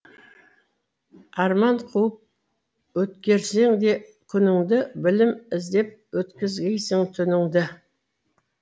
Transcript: арман қуып өткерсең де күніңді білім іздеп өткізгейсің түніңді